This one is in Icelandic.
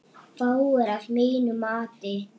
Fáir, að mínu mati.